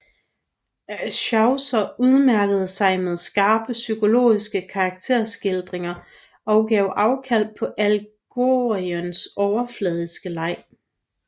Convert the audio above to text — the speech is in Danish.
Chaucer udmærkede sig med skarpe psykologiske karakterskildringer og gav afkald på allegoriens overfladiske leg